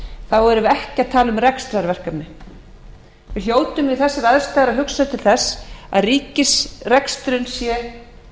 þá erum við ekki að tala um rekstrarverkefni við hljótum við þessar aðstæður að hugsa til þess að ríkisreksturinn sé